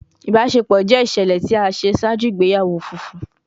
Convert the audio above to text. Ibaṣepọ jẹ iṣẹlẹ ti a ṣe ṣaaju igbeyawo funfun